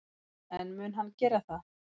En mun hann gera það?